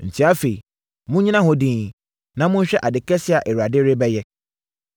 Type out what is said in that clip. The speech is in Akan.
“Enti afei, monnyina hɔ dinn, na monhwɛ ade kɛseɛ a Awurade rebɛyɛ.